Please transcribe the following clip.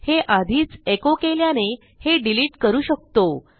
हे आधीच एको केल्याने हे डिलिट करू शकतो